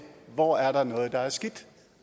hvor der er noget der er skidt